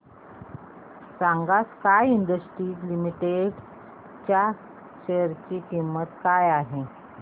सांगा sky industries limited च्या share ची किंमत काय आहे